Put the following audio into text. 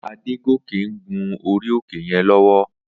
Adegoke n gún óri óké yèn lòwò